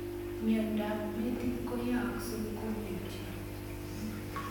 Miendop metit koyaakse komutio